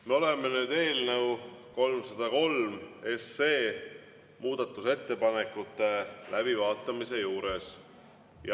Me oleme nüüd eelnõu 303 muudatusettepanekute läbivaatamise juures.